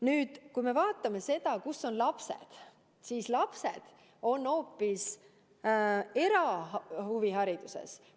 Kui me nüüd vaatame seda, kus on lapsed, siis lapsed on hoopis erahuvihariduses.